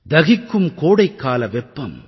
தகிக்கும் கோடைக்கால வெப்பம்